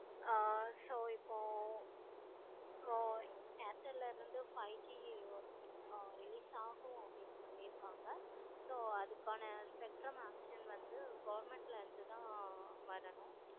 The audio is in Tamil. ஆஹ் so இப்போ இப்போ airtel ல இருந்து airtel ல இருந்து five G release ஆகும்னு அப்படின்னு சொல்லிருக்காங்க. so அதுக்கான spectrum action வந்து government ல இருந்து தான் வரணும்.